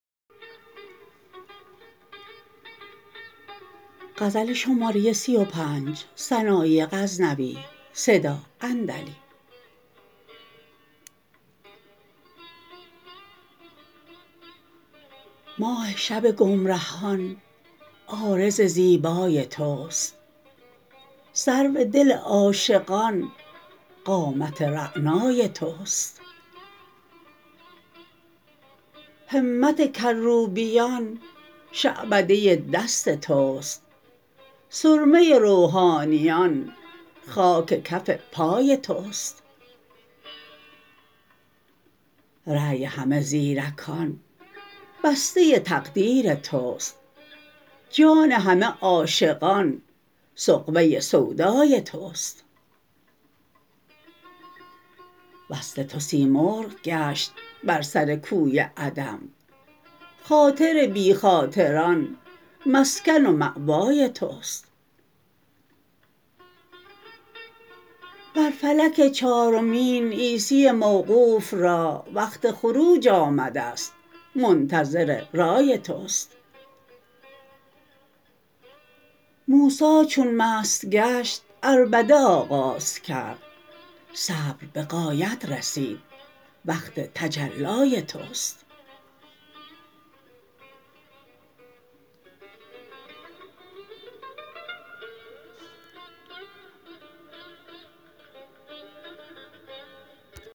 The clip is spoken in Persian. ماه شب گمرهان عارض زیبای تست سرو دل عاشقان قامت رعنای تست همت کروبیان شعبده دست تست سرمه روحانیان خاک کف پای تست رای همه زیرکان بسته تقدیر تست جان همه عاشقان سغبه سودای تست وصل تو سیمرغ گشت بر سر کوی عدم خاطر بی خاطران مسکن و ماوای تست بر فلک چارمین عیسی موقوف را وقت خروج آمدست منتظر رای تست موسا چون مست گشت عربده آغاز کرد صبر به غایت رسید وقت تجلای تست